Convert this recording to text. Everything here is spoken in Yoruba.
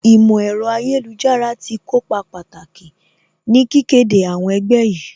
Ìmọ̀ ẹ̀rọ ayélujára tí kópa pàtàkì ní kíké de àwọn ẹgbẹ́ yìí